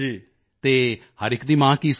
ਅਤੇ ਹਰ ਇੱਕ ਦੀ ਮਾਂ ਕੀ ਸੋਚਦੀ ਹੈ